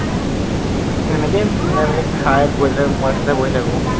সেনেকেই মিলাই মেলি খাই বৈ তাতে ৰাস্তাতে বহি থাকো।